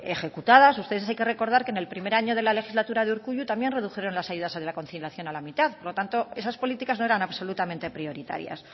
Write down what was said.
ejecutadas ustedes tienen que recordar que en el primer año de la legislatura de urkullu también redujeron las ayudas a la conciliación a la mitad por lo tanto esas políticas no eran absolutamente prioritarias